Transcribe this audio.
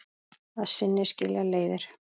Að sinni skilja leiðir.